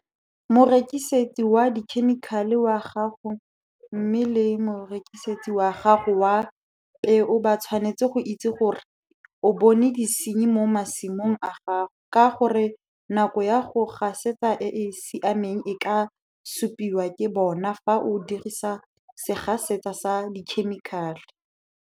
Morekisetse wa dikhemikale wa gago mme le morekisetsi wa gago wa peo ba tshwanetse go itse gore o bone disenyi mo masimong a gago ka gore nako ya go gasetsa e e siameng e ka supiwa ke bona fa o dirisa segasetsa sa dikhemikale.